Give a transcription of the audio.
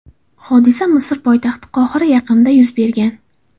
Hodisa Misr poytaxti Qohira yaqinida yuz bergan.